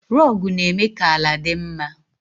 Rogu na-eme ka ala dị mma.